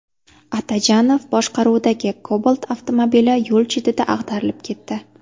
Atajonov boshqaruvidagi Cobalt avtomobili yo‘l chetida ag‘darilib ketdi.